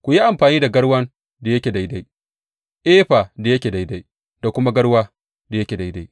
Ku yi amfani da garwan da yake daidai, efa da yake daidai da kuma garwa da yake daidai.